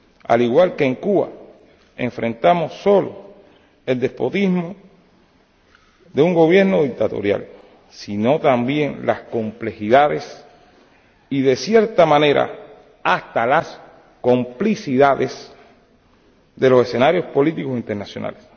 Al igual que en Cuba, enfrentamos no solo el despotismo de un gobierno dictatorial, sino también las complejidades y, en cierta manera, hasta las complicidades de los escenarios políticos internacionales.